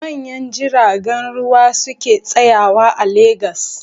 Manyan jiragen ruwa su ke tsayawa a Legas.